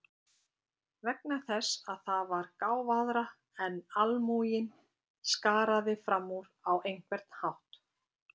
Vegna þess að það var gáfaðra en almúginn, skaraði fram úr á einhvern hátt.